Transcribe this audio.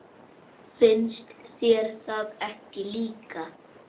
Finnst þér það ekki líka?